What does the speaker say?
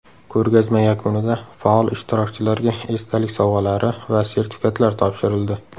Ko‘rgazma yakunida faol ishtirokchilarga esdalik sovg‘alari va sertifikatlar topshirildi.